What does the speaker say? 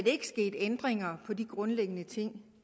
ikke sket ændringer af de grundlæggende ting